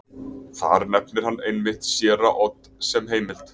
Þar nefnir hann einmitt séra Odd sem heimild.